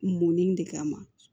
Munni de kama